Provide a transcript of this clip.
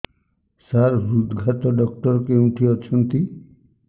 ସାର ହୃଦଘାତ ଡକ୍ଟର କେଉଁଠି ଅଛନ୍ତି